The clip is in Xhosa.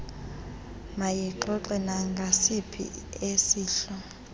mayixoxe nangasiphi isehlo